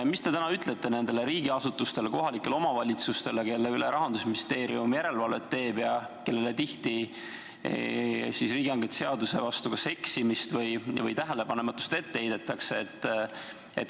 Mida te täna ütlete nendele riigiasutustele ja kohalikele omavalitsustele, kelle üle Rahandusministeerium järelevalvet teeb ja kellele tihti riigihangete seaduse vastu eksimist või tähelepanematust ette heidetakse?